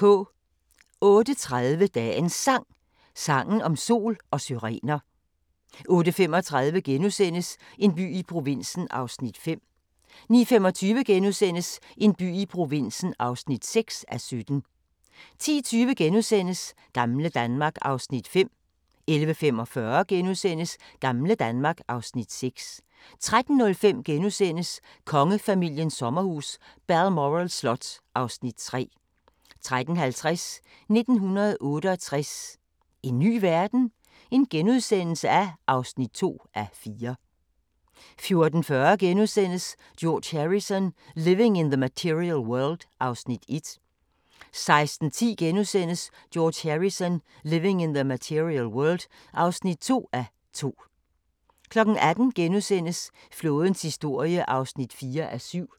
08:30: Dagens Sang: Sangen om sol og syrener 08:35: En by i provinsen (5:17)* 09:25: En by i provinsen (6:17)* 10:20: Gamle Danmark (Afs. 5)* 11:45: Gamle Danmark (Afs. 6)* 13:05: Kongefamiliens sommerhus – Balmoral slot (Afs. 3)* 13:50: 1968 – en ny verden? (2:4)* 14:40: George Harrison – Living in The Material World (1:2)* 16:10: George Harrison – Living in The Material World (2:2)* 18:00: Flådens historie (4:7)*